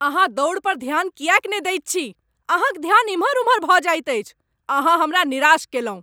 अहाँ दौड़ पर ध्यान किएक नहि दैत छी? अहाँक ध्यान एमहर ओमहर भऽ जाइत अछि। अहाँ हमरा निराश कयलहुँ।